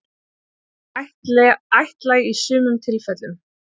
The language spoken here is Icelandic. Hún er ættlæg í sumum tilfellum.